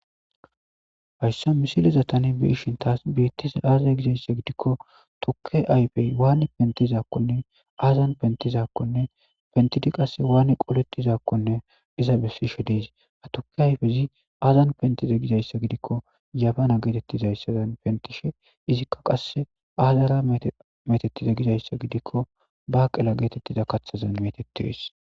hayssa misileza tanen beishin taas beettise aazae gizayssa gidikko tukke ayfey waani pentizakkonne aazan pentizakkonne pentidi qasse waani qoletizakkonne iza bessishe diis a tuke ayfezi azan pentize gizayssa gidikko yabana geetettizayssaan pentishe izikka qasse aazara metettize gizayssa gidikko ba qela geetettiza kathazan metetes